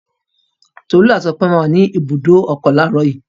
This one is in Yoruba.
Tolú àti Ọpẹ́ máa wà ní ibùdó ọkọ̀ láàárọ̀ yìí.